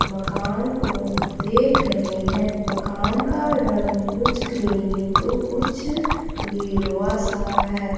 मकान को देख रहे हैं मकान का रंग कुछ क्रीमी तो कुछ गेरूआ सा है।